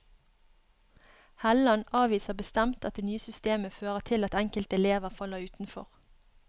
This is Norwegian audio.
Helland avviser bestemt at det nye systemet fører til at enkelte elever faller utenfor.